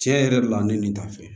Tiɲɛ yɛrɛ la ne nin t'a fɛ